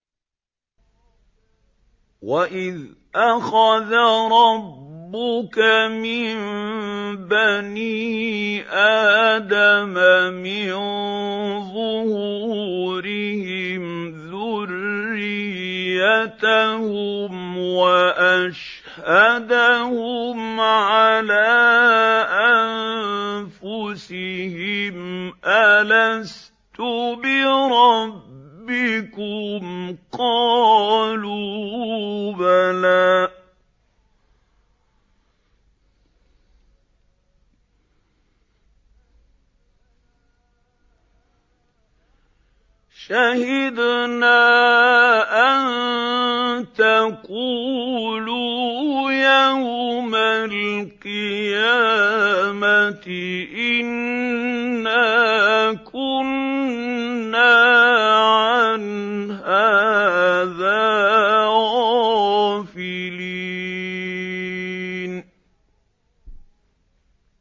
وَإِذْ أَخَذَ رَبُّكَ مِن بَنِي آدَمَ مِن ظُهُورِهِمْ ذُرِّيَّتَهُمْ وَأَشْهَدَهُمْ عَلَىٰ أَنفُسِهِمْ أَلَسْتُ بِرَبِّكُمْ ۖ قَالُوا بَلَىٰ ۛ شَهِدْنَا ۛ أَن تَقُولُوا يَوْمَ الْقِيَامَةِ إِنَّا كُنَّا عَنْ هَٰذَا غَافِلِينَ